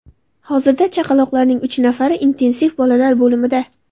Hozirda chaqaloqlarning uch nafari intensiv bolalar bo‘limida.